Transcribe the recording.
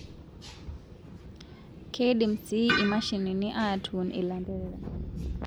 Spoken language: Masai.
Keidim sii imashinini atuun ilanterera